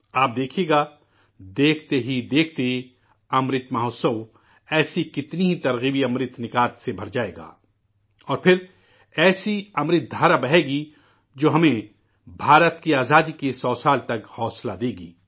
آپ دیکھئے گا، دیکھتے ہی دیکھتے 'امرت مہوتسو' ایسے بہت سے قابل ترغیب امرت سے بھر جائے گا، اور پھر امرت کی ایسی دھارا بہے گی جو ہمیں ہندوستان کی آزادی کی سو سال تک ترغیب دے گی